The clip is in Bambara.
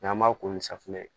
N'an b'a ko ni safunɛ